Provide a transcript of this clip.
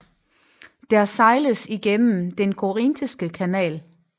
Der sejles igennem den Korinthiske kanal